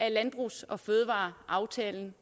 af landbrugs og fødevareaftalen